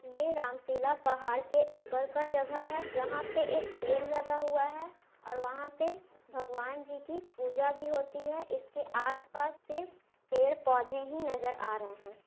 ये राम शीला पहाड़ के ऊपर का जगह है जहाँ पे एक पेड़ लगा हुआ है और वहा पे भगवानजी की पूजा भी होती है इसके आस - पास सिर्फ पेड़ पौधे ही नज़र आ रहे है।